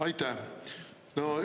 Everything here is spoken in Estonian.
Aitäh!